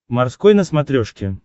морской на смотрешке